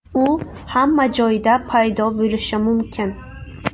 U hamma joyda paydo bo‘lishi mumkin.